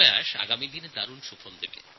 আগামী দিনে এই প্রচেষ্টা ফলপ্রসূ হবে